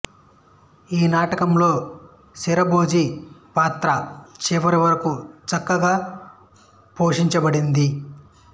ఈ నాటకంలో శరభోజి పాత్ర చివరి వరకు చక్కగా పోషించబడింది